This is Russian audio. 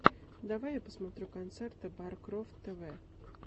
давай я посмотрю концерты баркрофт тэ вэ